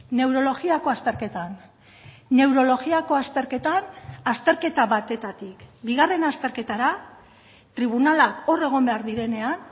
neurologiako azterketan neurologiako azterketan azterketa batetik bigarren azterketara tribunala hor egon behar direnean